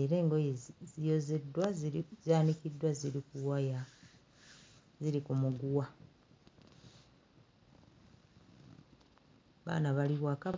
era eng'oye ziyozeddwa ziri zaanikiddwa ziri ku waya ziri ku muguwa, abaana bali waka....